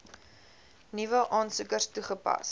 nuwe aansoekers toegepas